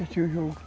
Assistia o jogo.